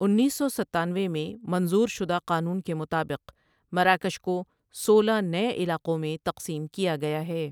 انیس سو ستانوے میں منظور شدہ قانون کے مطابق مراکش کو سولہ نۓ علاقوں میں تقسیم کیا گیا ہے۔